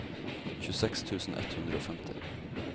tjueseks tusen ett hundre og femti